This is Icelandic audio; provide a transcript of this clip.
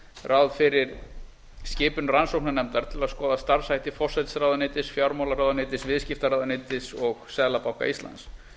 ráð fyrir skipun rannsóknarnefndar til að skoða starfshætti forsætisráðuneytis fjármálaráðuneytis viðskiptaráðuneytis og seðlabanka íslands